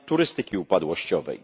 turystyki upadłościowej.